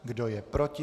Kdo je proti?